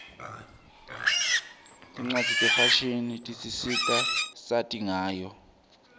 tincwadzi tefashini tisisita sati ngayo